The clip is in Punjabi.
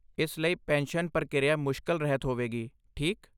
ਇਸ ਲਈ, ਪੈਨਸ਼ਨ ਪ੍ਰਕਿਰਿਆ ਮੁਸ਼ਕਲ ਰਹਿਤ ਹੋਵੇਗੀ, ਠੀਕ?